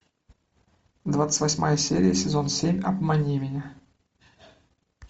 двадцать восьмая серия сезон семь обмани меня